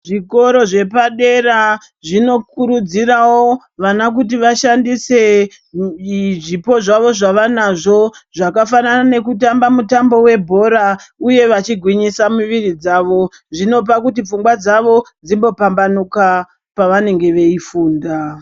Zvikora zvepadera zvinokurudzirawo vana kuti vaishandisa zvipo zvawo zvavanazvo zvakafanana nekutamba nemitambo webhora uye vachigwinyisa mwiri dzawo zvinopa kuti pfungwa dzawo dzimbo pambanuka pavanenge vachifunda.